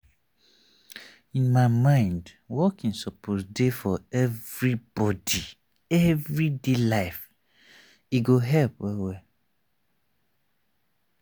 in my mind walking suppose dey for everybody everyday life e go help well well.